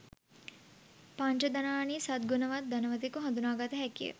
පංචධනානි සද්ගුණවත් ධනවතෙකු හඳුනාගත හැකි ය.